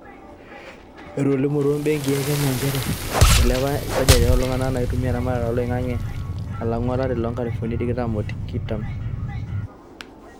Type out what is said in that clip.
Etolimutwo imbenki e Kenya nchere ilepa esajati oltunga naitumia eramatare oloingage alangu olari loo nkalifuni tikitam o ttikitam.